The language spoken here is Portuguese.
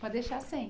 Pode deixar sem.